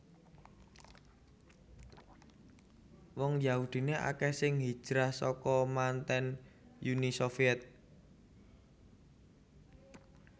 Wong Yahudiné akèh sing hijrah saka manten Uni Sovyèt